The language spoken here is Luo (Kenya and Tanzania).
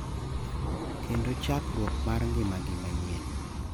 kendo chakruok mar ngimagi manyien.